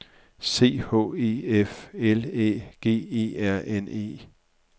C H E F L Æ G E R N E